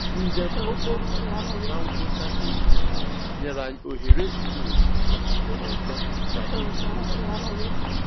Njem okporo ụzọ na ngwụcha izu ụka nyere anyị ohere zuru oke ijikọ ọzọ na ikwu okwu